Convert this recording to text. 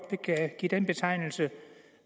kan give den betegnelse